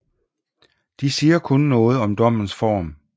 De siger kun noget om dommens form